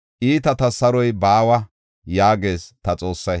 “Iitatas saroy baawa” yaagees ta Xoossay.